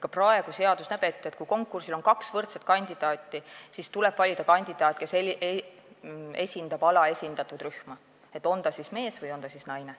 Ka praegu näeb seadus ette, et kui konkursil on kaks võrdset kandidaati, siis tuleb valida kandidaat, kes esindab alaesindatud rühma, on ta siis mees või naine.